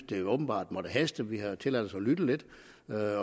det åbenbart måtte haste vi har tilladt os at lytte lidt